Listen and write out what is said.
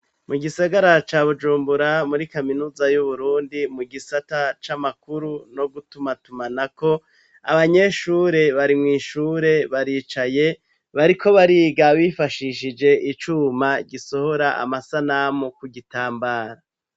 Mu gisagara ca Bujumbura muri Kaminuza y'uburundi mu gisata c'amakuru no gutumatumana ko abanyeshure bari mu ishure baricaye bariko bariga bifashishije icuma gisohora amasanamu ku gitambara.